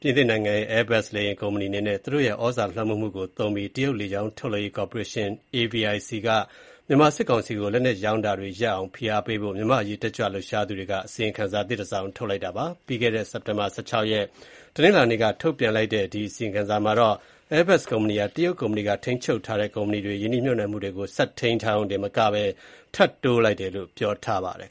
ပြင်သစ်နိုင်ငံရဲ့ Airbus လေယာဉ်ကုမ္ပဏီအနေနဲ့ သူတို့ရဲ့ သြဇာလွှမ်းမိုးမှုကို အသုံးပြုပြီး တရုတ်လေကြောင်းထုတ်လုပ်ရေး ကော်ပိုရေးရှင်း (AVIC)ကို မြန်မာစစ်ကောင်စီကို လက်နက်ရောင်းချတာတွေရပ်တန့်အောင် ဖိအားပေးဖို့ မြန်မာအရေးတက်ကြွလှုပ်ရှားသူတွေက အစီရင်ခံစာသစ်တစောင်ထုတ်တောင်းဆို လိုက်ပါတယ်။ ပြီးခဲ့တဲ့ စက်တင်ဘာ ၁၆ ရက်၊ တနင်္လာနေ့က ထုတ်ပြန်လိုက်တဲ့ အဲဒီအစီရင်ခံစာထဲမှာတော့ Airbus ကုမ္ပဏီဟာ တရုတ်ကုမ္ပဏီက ထိန်းချုပ်ထားတဲ့ ကုမ္ပဏီတွေမှာ ရင်းနှီးမြှုုပ်နှံမှုတွေကို ဆက်ထိန်းထားရုံတင်မဟုတ်ဘဲ ထပ်တိုးလိုက်တယ်လို့ ပြောပါတယ်